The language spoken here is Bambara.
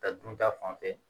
Ta dun ta fanfɛ